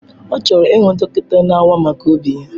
Ọ chọrọ ịhụ dọkịta na-awa maka obi ya.